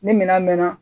Ni minɛn mɛnna